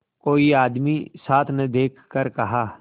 कोई आदमी साथ न देखकर कहा